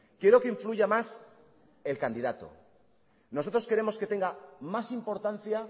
quiero que influya más el candidato nosotros queremos que tenga más importancia